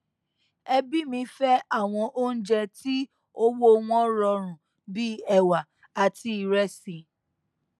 ẹbí mi fẹ àwọn oúnjẹ tí owó wọn rọrùn bí ẹwà àti ìrẹsì